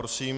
Prosím.